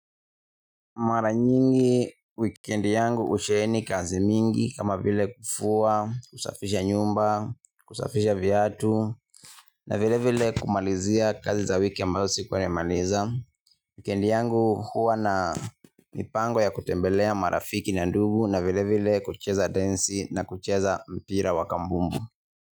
Mara nyingi wikendi yangu usheeni kazi mingi kama vile kufua, kusafisha nyumba, kusafisha viatu na vile vile kumalizia kazi za wiki ambayo sikuwa nimemaliza. Wikendi yangu huwa na mipango ya kutembelea marafiki na ndugu na vile vile kucheza densi na kucheza mpira wa kambumbu.